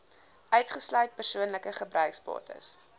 uitgesluit persoonlike gebruiksbates